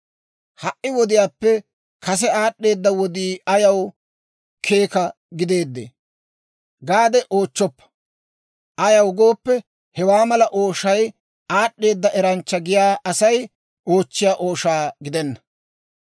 «Ha"i wodiyaappe kase aad'd'eeda wodii ayaw keeka gideedee?» gaade oochchoppa; ayaw gooppe, hewaa mala ooshay aad'd'eeda eranchcha giyaa Asay oochchiyaa ooshaa gidenna.